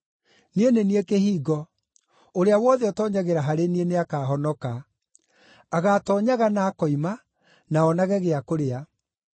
Niĩ nĩ niĩ kĩhingo; ũrĩa wothe ũtoonyagĩra harĩ niĩ nĩakahonoka. Agaatoonyaga na akoima, na onage gĩa kũrĩa.